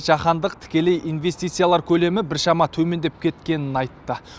жаһандық тікелей инвестициялар көлемі біршама төмендеп кеткенін айтты